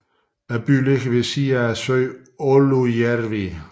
Byen ligger ved bredden af søen Oulujärvi